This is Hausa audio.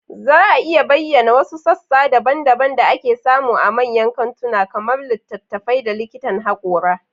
Za a iya bayyana wasu sassa daban-daban da ake samu a manyan kantuna, kamar littattafai da likitan hakora?